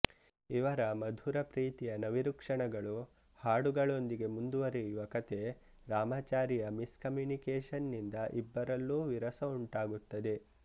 ಇವರ ಮಧುರ ಪ್ರೀತಿಯ ನವಿರು ಕ್ಷಣಗಳು ಹಾಡುಗಳೊಂದಿಗೆ ಮುಂದುವರೆಯುವ ಕಥೆ ರಾಮಾಚಾರಿಯ ಮಿಸ್ ಕಮ್ಮ್ಯುನಿಕೇಶನ್ ನಿಂದ ಇಬ್ಬರಲ್ಲೂ ವಿರಸ ಉಂಟಾಗುತ್ತದೆ